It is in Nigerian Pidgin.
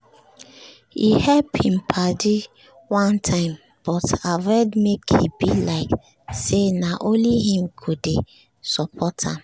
he help him padi one time but avoid make e be like say na only him go dey support am